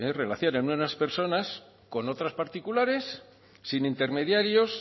personas con otras particulares sin intermediarios